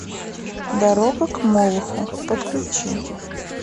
дорога к молоху подключи